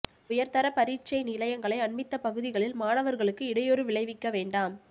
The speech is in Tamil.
உயர்தர பரீட்சை நிலையங்களை அண்மித்த பகுதிகளில் மாணவர்களுக்கு இடையூறு விளைவிக்க வேண்டாம்